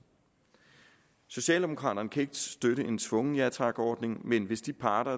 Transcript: socialdemokraterne kan ikke støtte en tvungen ja tak ordning men hvis de parter